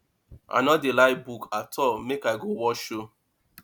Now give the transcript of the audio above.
i no dey like book at all make i go watch show